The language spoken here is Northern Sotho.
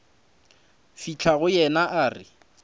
fihla go yena a re